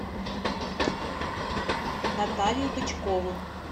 наталью бычкову